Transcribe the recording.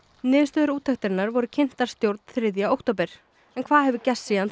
niðurstöður úttektarinnar voru kynntar stjórn þriðja október en hvað hefur gerst síðan